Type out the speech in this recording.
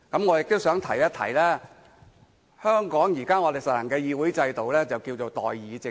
我亦都想提醒，香港現時實行的議會制度，稱為代議政制。